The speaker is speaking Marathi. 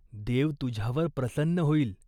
देव तुझ्यावर प्रसन्न होईल.